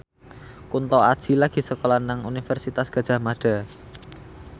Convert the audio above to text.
Kunto Aji lagi sekolah nang Universitas Gadjah Mada